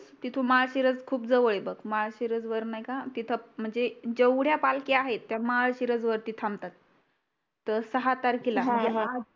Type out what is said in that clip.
तिथून माहाशिरस खूप जवळ आहे बघ महाशिवरज वर नाही का तिथ म्हनजे जेवढ्या पालख्या आहे त्या महाशिरज वरती थांबतात सॉरी सहा तारखेला